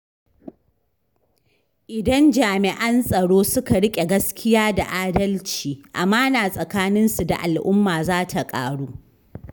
Idan jami’an tsaro suka riƙe gaskiya da adalci, amana tsakanin su da al’umma za ta ƙaru.